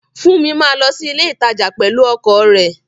Funmi máa lọ sí ilé ìtajà pẹ̀lú ọkọ̀ rẹ̀